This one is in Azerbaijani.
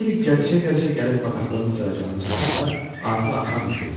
Mauli gəzişə-gəzişə gəlib bataqlığın qurtaracağına çatanda artıq axşam düşürdü.